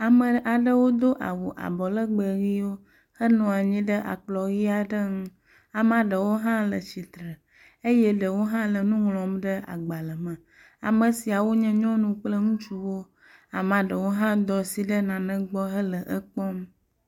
Ame aɖewo do awu abɔ legbẽ ʋiwo henɔ anyi ɖe akplɔ̃ ʋi aɖe ŋu. Amea ɖewo hã le tsitre eye ɖewo hã le nu ŋlɔm ɖe agbalẽ me. Ame siawo nye nyɔnuwo kple ŋutsuwo, amea ɖewo hã do asi ɖe nane gbɔ hele ekpɔm.